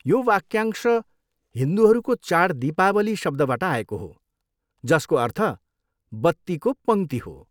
यो वाक्यांश हिन्दूहरूको चाड दीपावली शब्दबाट आएको हो, जसको अर्थ 'बत्तीको पङ्क्ति' हो।